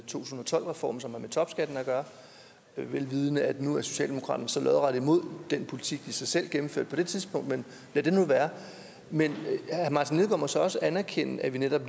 tusind og tolv reformen som har med topskatten at gøre vel vidende at nu er socialdemokratiet så lodret imod den politik de selv gennemførte på det tidspunkt men lad det nu være men herre martin lidegaard må så også anerkende at vi netop